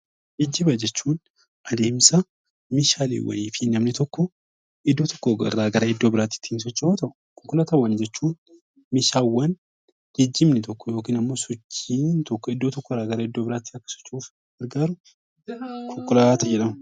Geejjiba jechuun adeemsa meeshaaleewwanii fi namni tokko iddoo tokko irraa gara iddoo biraatti ittiin socho'u yoo ta'u, konkolaataawwan jechuun meeshaawwan geejjibni tokko yookiin ammoo sochiin tokko iddoo tokko irraa gara iddoo biraatti akka socho'uuf gargaaru konkolaataa jedhama.